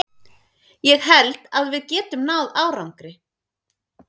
Ég held að við getum náð árangri.